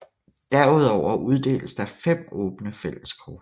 Derudover uddeles der fem åbne fælleskort